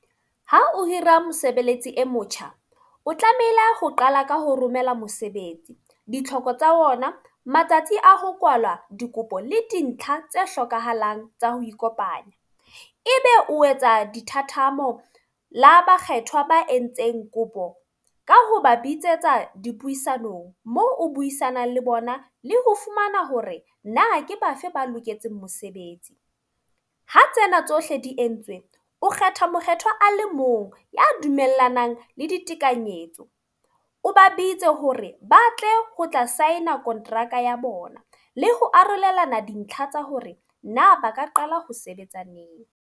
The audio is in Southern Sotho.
Ha o hira mosebeletsi e motjha. O tlamehile ho qala ka ho romela mosebetsi ditlhoko tsa ona, matsatsi a ho kwalwa dikopo le dintlha tse hlokahalang tsa ho ikopanya. E be o etsa dithathamo la bakgethwa ba entseng kopo. Ka hoba bitsetsa dipuisanong. Mo o buisanang le bona, le ho fumana hore na ke bafe ba loketseng mosebetsi. Ha tsena tsohle di entswe, o kgetha mokgethwa a le mong ya dumellanang le ditekanyetso. O ba bitse hore ba tle ho tla sign-a kontraka ya bona le ho arolelana dintlha tsa hore na ba ka qala ho sebetsa neng.